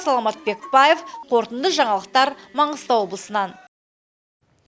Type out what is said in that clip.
саламат бекбаев қорытынды жаңалықтар маңғыстау облысынан